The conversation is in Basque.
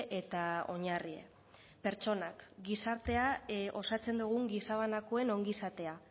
eta oinarri pertsonak gizartea osatzen dugun gizabanakoen ongizatea